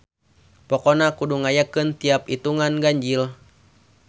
Pokona kudu ngayakeun tiap itungan ganjil.